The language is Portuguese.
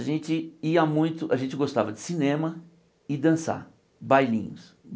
A gente ia muito, a gente gostava de cinema e dançar, bailinhos.